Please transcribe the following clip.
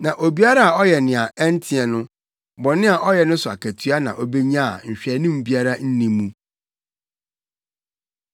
Na obiara a ɔyɛ nea ɛnteɛ no, bɔne a ɔyɛ no so akatua na obenya a nhwɛanim biara nni mu.